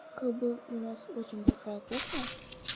как бы у нас очень большая кухня